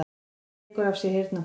Hann tekur af sér heyrnartólin.